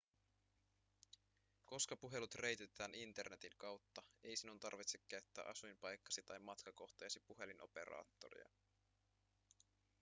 koska puhelut reititetään internetin kautta ei sinun tarvitse käyttää asuinpaikkasi tai matkakohteesi puhelinoperaattoria